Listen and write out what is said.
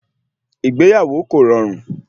Ìgbéyàwó kò rọrùn